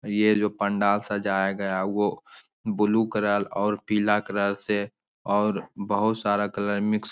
ये जो पंडाल सजाया गया है वो ब्लू कलर और पीला कलर से और बहोत सारा कलर मिक्स --